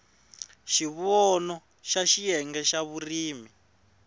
xivono xa xiyenge xa vurimi